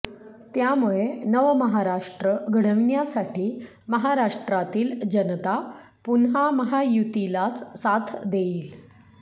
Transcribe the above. त्यामुळे नवमहाराष्ट्र घडविण्यासाठी महाराष्ट्रातील जनता पुन्हा महायुतीलाच साथ देईल